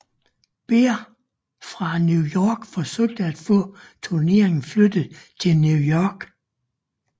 Behr fra New York forsøgt at få turneringen flyttet til New York